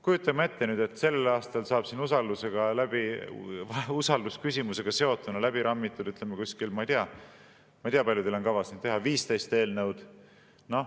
Kujutame ette, et sel aastal saab siin usaldusküsimusega seotuna läbi rammida umbes – ma ei tea, kui palju teil on kavas seda teha – 15 eelnõu.